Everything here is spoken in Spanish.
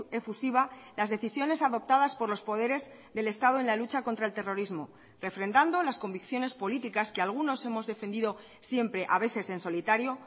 efusiva las decisiones adoptadas por los poderes del estado en la lucha contra el terrorismo refrendando las convicciones políticas que algunos hemos defendido siempre a veces en solitario